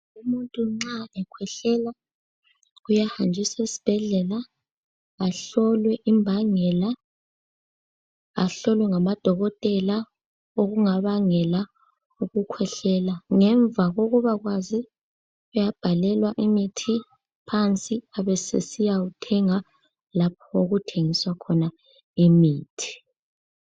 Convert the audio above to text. Umuntu nxa ekhwehlela uyahanjiswa esibhedlela. Ahlolwe imbangela, ahlolwe ngama dokotela okungabangela ukukhwehlela. Ngemva kokuba kwazi, uyabhalelwa imithi phansi. Abesesiya wuthenga lapho okuthengiswa khona imithi.